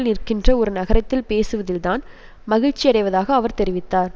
நிற்கின்ற ஒரு நகரத்தில் பேசுவதில் தான் மகிழ்ச்சியடைவதாக அவர் தெரிவித்தார்